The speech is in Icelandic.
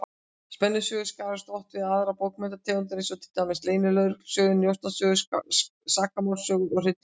Spennusögur skarast oft við aðrar bókmenntategundir, eins og til dæmis leynilögreglusögur, njósnasögur, sakamálasögur og hryllingssögur.